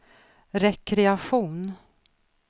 rekreation